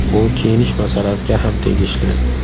Bu kiyinish masalasiga ham tegishli.